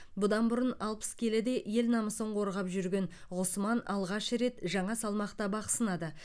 бұдан бұрын алпыс келіде ел намысын қорғап жүрген ғұсман алғаш рет жаңа салмақта бақ сынады